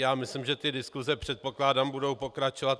Já myslím, že ty diskuse, předpokládám, budou pokračovat.